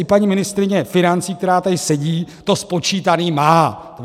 I paní ministryně financí, která tady sedí, to spočítaný má.